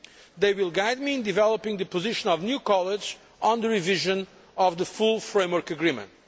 They will guide me in developing the position of the new College on the revision of the full Framework Agreement.